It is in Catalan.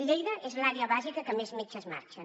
lleida és l’àrea bàsica en què més metges marxen